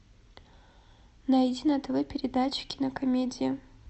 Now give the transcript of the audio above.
найди на тв передачу кинокомедия